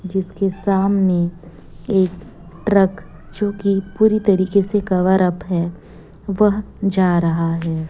जिसके सामने एक ट्रक जोकि पूरी तरीके से कवरअप है वह जा रहा है।